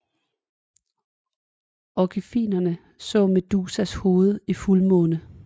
Orfikerne så Medusas hoved i fuldmånen